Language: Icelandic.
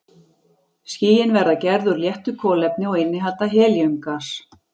Skýin verða gerð úr léttu kolefni og innihalda helíum-gas.